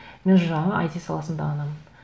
мен жаңағы айти саласында ғанамын